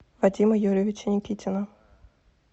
вадима юрьевича никитина